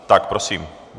Tak prosím.